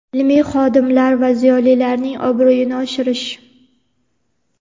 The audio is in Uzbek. ilmiy xodimlar va ziyolilarning obro‘yini oshirish.